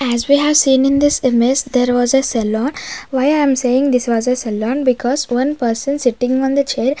as we have seen in this image there was a saloon why i am saying this was a saloon because one person sitting on the chair.